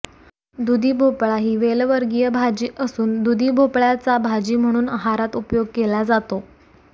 दुधी भोपळा ही वेलवर्गीय भाजी असून दुधी भोपळयाचा भाजी म्हणून आहारात उपयोग केला जातो